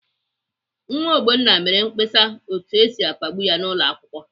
Nwa Ogbonna mere mkpesa otu esi akpagbu ya n'ụlọakwụkwọ.